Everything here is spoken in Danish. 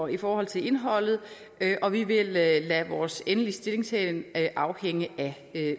i forhold til indholdet og vi vil lade lade vores endelige stillingtagen afhænge af